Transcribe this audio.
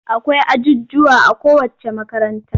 Akwai ajujjuwa a kowacce makaranta.